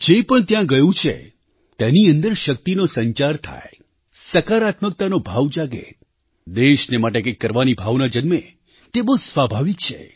જે પણ ત્યાં ગયું છે તેની અંદર શક્તિનો સંચાર થાય સકારાત્મકતાનો ભાવ જાગે દેશને માટે કંઈક કરવાની ભાવના જન્મે તે બહુ સ્વાભાવિક છે